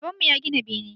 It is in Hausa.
Baban mu ya gina bene